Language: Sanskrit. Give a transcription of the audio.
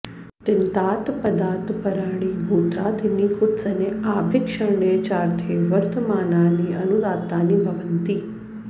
तिङन्तात् पदात् पराणि गोत्रादीनि कुत्सने आभीक्ष्ण्ये चार्थे वर्तमानानि अनुदात्तानि भवन्ति